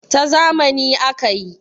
ta zamani aka yi